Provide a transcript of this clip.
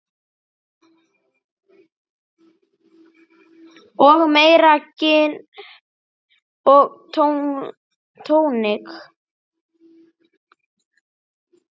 Og meira gin og tónik.